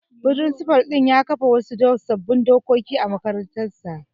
Firinsifal ɗin ya kafa wasu sabbin dokoki a makarantar.